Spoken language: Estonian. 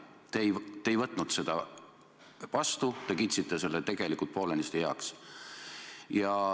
Te ei võtnud seda seisukohta vastu, te kiitsite selle tegelikult poolenisti heaks.